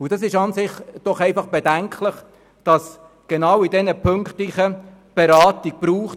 » Es ist doch an und für sich bedenklich, dass es genau in diesen Punkten Beratung braucht.